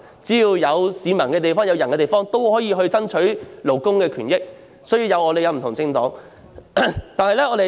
只要是有市民、有人的地方，就可以爭取勞工權益，這正是香港有不同政黨的原因。